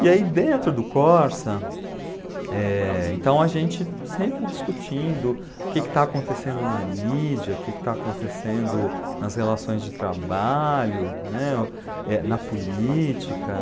E aí dentro do Corsa, eh, então a gente sempre discutindo o que que está acontecendo na mídia, o que que está acontecendo nas relações de trabalho, né, na política.